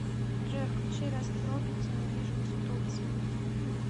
джой включи рэст пропети недвижимость в турции